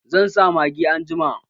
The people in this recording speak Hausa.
Zan sa magi anjima